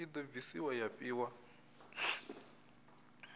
i do bvisiwa ya fhiwa